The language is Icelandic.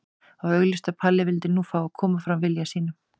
Það var augljóst að Palli vildi nú fá að koma fram vilja sínum.